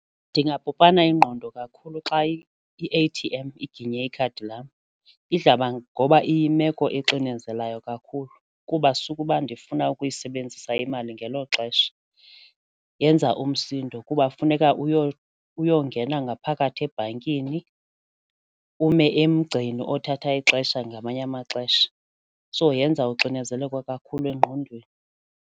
Ndingapopana ingqondo kakhulu xa i-A_T_M iginye ikhadi lam ngoba iyimeko exinzeleleyo kakhulu kuba sukuba ndifuna ukuyisebenzisa imali ngelo xesha, yenza umsindo kuba funeka uyongena ngaphakathi ebhankini ume emgceni othatha ixesha ngamanye amaxesha so yenza uxinezeleko kakhulu engqondweni.